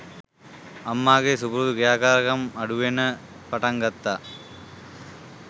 අම්මාගේ සුපුරුදු ක්‍රියාකාරකම් අඩු වෙන්න පටන් ගත්තා